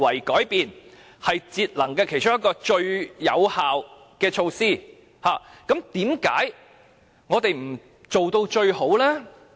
既然這是節能的最有效措施之一，為何我們不做到最好呢？